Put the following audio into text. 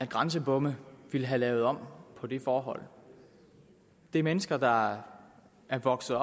grænsebomme ville have lavet om på det forhold det er mennesker der er vokset